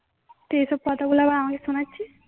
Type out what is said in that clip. তুই এই সব কথাগুলা আবার আমাকে শোনাচ্ছিস